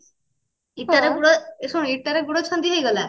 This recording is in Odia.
ଇଟାରେ ଗୋଡ ଏ ଶୁଣୁ ଇଟାରେ ଗୋଡ ଛନ୍ଦି ହେଇଗଲା